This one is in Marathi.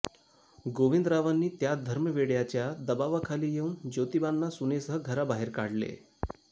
गोविंदरावांनी त्या धर्मवेड्याच्या दबावाखाली येऊन ज्योतिबांना सुनेसह घराबाहेर काढले